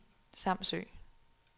Samsø